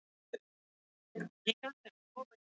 Sveppir eru algengir sjúkdómsvaldar í húð.